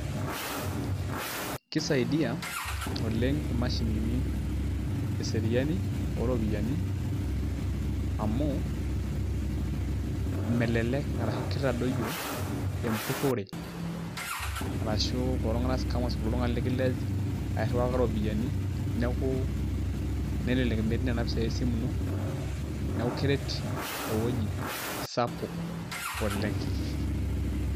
kisaidia oleng imashini eseriani ooropiyiani, amu melelek arashu kitadoyio, empurore, arashu kulo tunganak, scammers ltungani likilej ekiriwaki iropiyiani neeku, nelelek metii nena pisai esimu ino. neeku keret eweuji sapuk oleng.